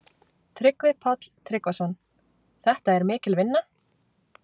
Tryggvi Páll Tryggvason: Þetta er mikil vinna?